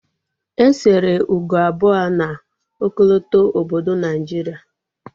E sere ugo abụọ na ọkọlọtọ obodo Naijiria